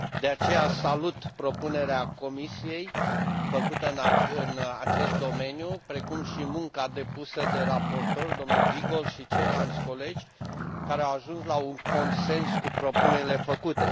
De aceea, salut propunerea Comisiei făcută în acest domeniu, precum și munca depusă de raportor, dl Giegold și ceilalți colegi, care au ajuns la un consens cu propunerile făcute.